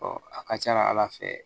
a ka ca ala fɛ